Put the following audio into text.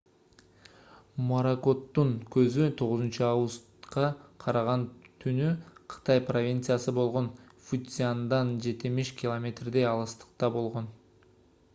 моракоттун көзү 9-августка караган түнү кытай провинциясы болгон фуцзяндан жетимиш километрдей алыстыкта болгон